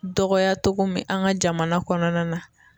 Dɔgɔya togo min an ga jamana kɔnɔna na